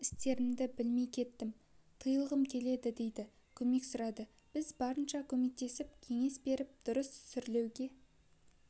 істерімді білмей кеттім тыйылғым келеді дейді көмек сұрайды біз барынша көмектесіп кеңес беріп дұрыс сүрлеуге